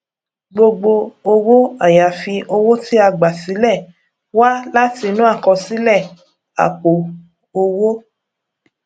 gbogbo owó àyàfi owó tí a gbà sílẹ wá láti inú àkọsílẹ àpò owó